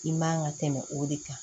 I man ka tɛmɛ o de kan